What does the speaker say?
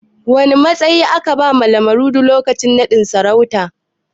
Wane matsayi aka bawa Lamurde lokacin naɗin sarautar?